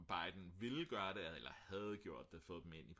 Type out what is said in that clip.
Biden ville gøre det eller havde gjort det få dem ind